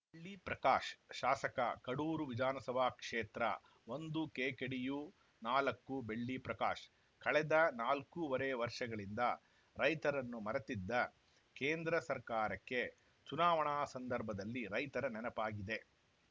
ಬೆಳ್ಳಿ ಪ್ರಕಾಶ್‌ ಶಾಸಕ ಕಡೂರು ವಿಧಾನಸಭಾ ಕ್ಷೇತ್ರ ಒಂದು ಕೆಕೆಡಿಯು ನಾಲ್ಕು ಬೆಳ್ಳಿ ಪ್ರಕಾಶ್‌ ಕಳೆದ ನಾಲ್ಕೂವರೆ ವರ್ಷಗಳಿಂದ ರೈತರನ್ನು ಮರೆತಿದ್ದ ಕೇಂದ್ರ ಸರ್ಕಾರಕ್ಕೆ ಚುನಾವಣಾ ಸಂದರ್ಭದಲ್ಲಿ ರೈತರ ನೆನಪಾಗಿದೆ